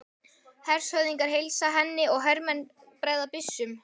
Hershöfðingjar heilsa henni og hermenn bregða byssum.